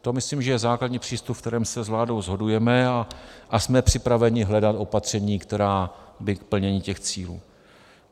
To myslím, že je základní přístup, na kterém se s vládou shodujeme, a jsme připraveni hledat opatření, která by k plnění těch cílů.